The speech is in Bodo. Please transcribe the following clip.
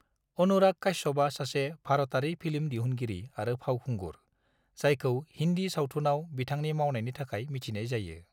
अनुराग काश्यपआ सासे भारतारि फिल्म दिहुनगिरि आरो फावखुंगुर, जायखौ हिन्दी सावथुनाव बिथांनि मावनायनि थाखाय मिथिनाय जायो।